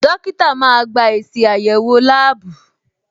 Dókítà máa gba èsì àyẹ̀wò láàbù.